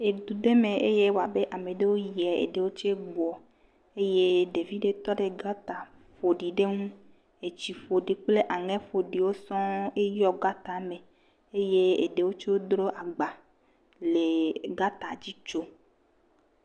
Edu ɖe me ewoa be ame aɖewo tse gboa eye ɖevi ɖe tɔ ɖe gota fofo ɖe ŋu eye etsi ƒoɖi kple aŋɛ ƒoɖiwo sɔ̃eyɔ gata me eye eɖewo tsɛ dro agba le gata dzi tsom.